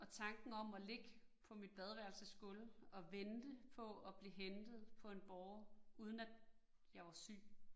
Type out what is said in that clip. Og tanken om at ligge på mit badeværelsesgulv, og vente på at blive hentet på en båre, uden at jeg var syg